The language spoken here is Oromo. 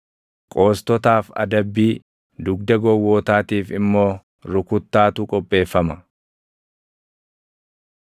Qoostotaaf adabbii, dugda gowwootaatiif immoo rukuttaatu qopheeffama.